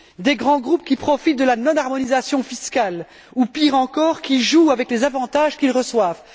Des grands groupes qui profitent de la non harmonisation fiscale ou, pire encore, qui jouent avec les avantages qu'ils reçoivent.